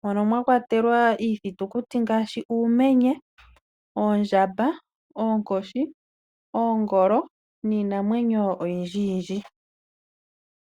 mono mwakwatelwa iithitukuti ngaashi; uumenye, oondjamba, oonkoshi, oongolo na yilwe.